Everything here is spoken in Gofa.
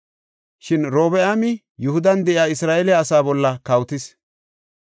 Shin Robi7aami Yihudan de7iya Isra7eele asaa bolla kawotis.